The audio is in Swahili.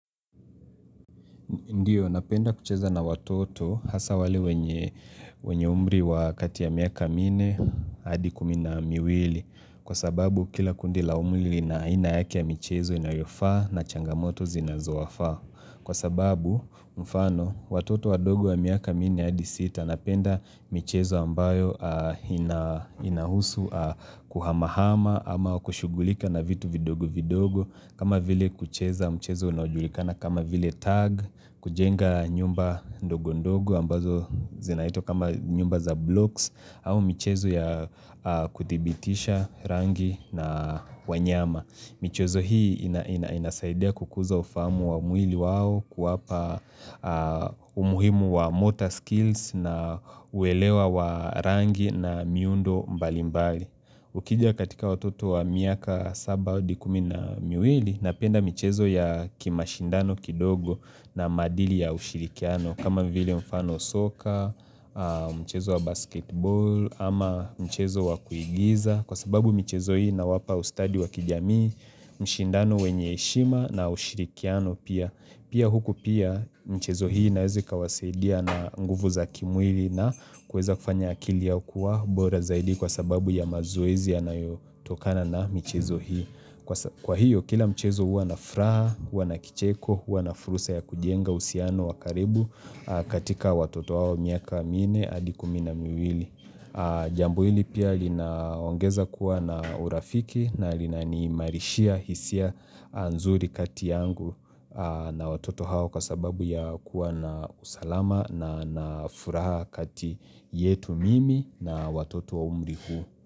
Ndiyo, napenda kucheza na watoto hasa wale wenye umri wa kati ya miaka minne hadi kumi na miwili. Kwa sababu kila kundi la umri lina aina yake ya michezo inayofaa na changamoto zinazowafaa. Kwa sababu, mfano, watoto wadogo ya miaka minne hadi sita napenda michezo ambayo inahusu kuhamahama ama kushughulika na vitu vidogo vidogo. Kama vile kucheza mchezo unaojulikana kama vile tag kujenga nyumba ndogo ndogo ambazo zinaitwa kama nyumba za blocks au michezo ya kuthibitisha rangi na wanyama. Michezo hii inasaidia kukuza ufahamu wa mwili wao kuwapa umuhimu wa motor skills na uelewa wa rangi na miundo mbali mbali. Ukija katika watoto wa miaka 7 hadi kumi na miwili napenda michezo ya kimashindano kidogo na maadili ya ushirikiano kama vile mfano soka, mchezo wa basketbol ama mchezo wa kuigiza kwa sababu michezo hii ina wapa ustadi wa kijamii, mshindano wenye heshima na ushirikiano pia. Pia huku pia michezo hii inaweza ikawasaidia na nguvu za kimwili na kuweza kufanya akili yao kuwa bora zaidi kwa sababu ya mazoezi yanayotokana na michezo hii. Kwa hiyo kila mchezo huwa na furaha, huwa na kicheko, huwa na fursa ya kujenga uhusiano wa karibu katika watoto hao wa miaka minne hadi kumi na miwili. Jambo hili pia linaongeza kuwa na urafiki na linaniimarishia hisia nzuri kati yangu na watoto hao kwa sababu ya kuwa na usalama na nafuraha kati yetu mimi na watoto wa umri huu.